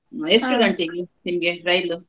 ನಿಮ್ಗೆ ರೈಲು?